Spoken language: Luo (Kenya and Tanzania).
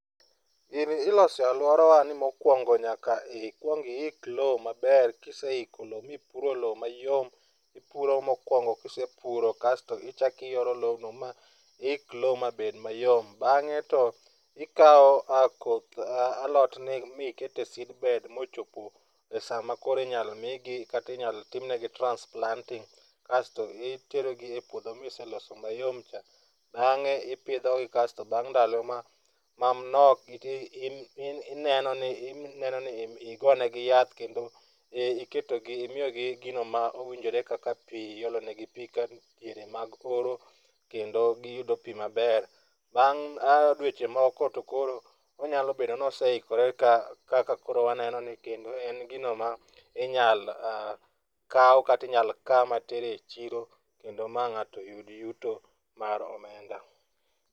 Gini iloso e aluorawa ni mokuongo nyaka ikuong iik lowo maber. Ka iseiko lowo ma ipuro lowo mayom ipuro mokuongo ka isepuro kasto ichako iyoro lobno ma iik lowo mabed mayom. Bang'e to ikawo koth alotni mane iketo e seedbed mochopo esaa makoro inyalo migi kata inyalo tim negi transplanting kasto iterogi e puodho mane iseloso mayom cha to bang'e ipidho gi kasto bang'e ndalo manok to ineno ni igonegi yath kendo iketonegi miyogi gino ma owinjore kaka pi, iolo negi pii kaka diere mag oro kendo giyudo pi maber. Bang' dweche moko nyalo bedo ni oseikore kaka koro wanenoni kendo en gino ma inyalo kaw kata inyalo kaa mater echiro ma ng'ato yud yuto mar omenda.